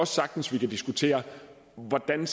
sagtens vi kan diskutere hvordan